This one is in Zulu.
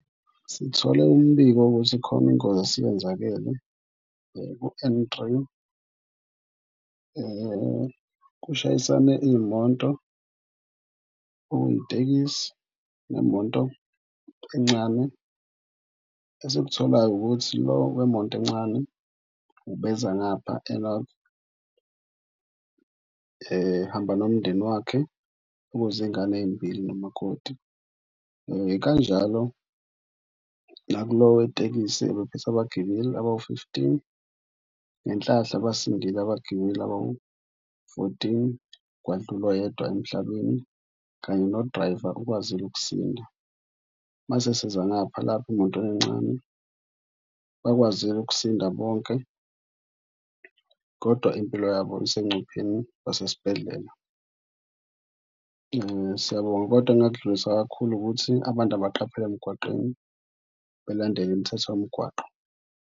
Sithole umbiko ukuthi khona ingozi esiyenzakele ku-N three kushayisane iy'moto okuyitekisi nemoto encane. Esikutholayo ukuthi lo wemoto encane ubeza ngapha e-North ehamba nomndeni wakhe okuzingane ey'mbili nomakoti. Kanjalo nakulo wetekisi ebephethe abagibeli abawu-fifteen, ngenhlahla basindile abagibeli abawu-fourteen, kwadlula oyedwa emhlabeni kanye nodrayiva, ukwazile ukusinda. Mase siza ngapha lapha emotweni encane bakwazile ukusinda bonke, kodwa impilo yabo isengcupheleni basesibhedlela. Siyabonga kodwa engingakudlulisa kakhulu ukuthi abantu abaqaphele emgwaqeni belandele imithetho yomgwaqo.